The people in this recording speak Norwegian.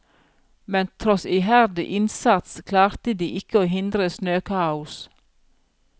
Men tross iherdig innsats klarte de ikke å hindre snøkaos.